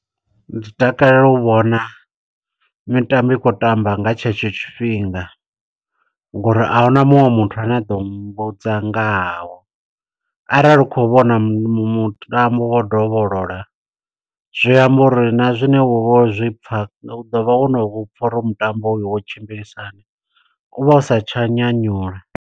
Ndi takalela u vhona mitambo i khou tamba nga tshetsho tshifhinga, ngo uri ahuna muṅwe muthu ane a ḓo mmbudza ngahao. Arali u khou vhona mu mutambo wo u dovholola, zwi amba uri na zwine wovha wo zwipfa, u ḓo vha wo no vhupfa uri hoyo mutambo hoyo wo tshimbilisahani. Uvha u sa tsha nyanyula.